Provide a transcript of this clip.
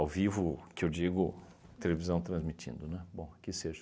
vivo que eu digo televisão transmitindo, né, bom, que seja.